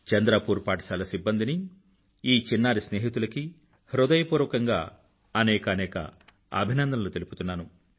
చంద్రపూర్ పాఠశాల సిబ్బందినీ ఈ చిన్నారి స్నేహితులకీ హృదయపూర్వకంగా అనేకానేక అభినందనలు తెలుపుతున్నాను